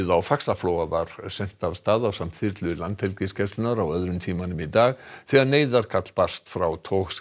á Faxaflóa var sent af stað ásamt þyrlu Landhelgisgæslunnar á öðrum tímanum í dag þegar neyðarkall barst frá